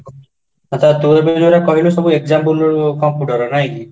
ଆଛା ତୁ ଏବେ ଜୌରା କହିଲୁ example computerର ନାଇଁକି